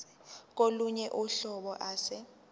kolunye uhlobo ase